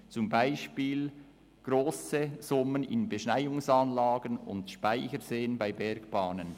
Das betrifft zum Bespiel die Investition grosser Summen in Beschneiungsanlagen und Speicherseen bei Bergbahnen.